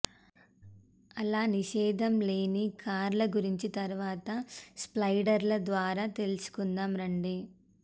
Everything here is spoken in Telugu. అలా నిషేదం లేని కార్ల గురించి తరువాత స్లైడర్ల ద్వారా తెలుకుందాం రండి